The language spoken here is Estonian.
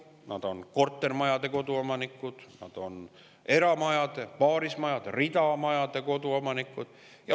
Nad on koduomanikud kortermajades, nad on koduomanikud eramajades, paarismajades, ridamajades.